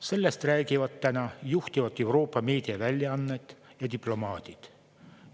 Sellest räägivad täna juhtivad Euroopa meediaväljaanded ja diplomaadid.